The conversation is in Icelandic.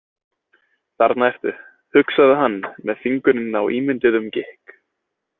Þarna ertu, hugsaði hann með fingurinn á ímynduðum gikk.